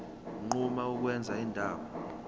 unquma ukwenza indawo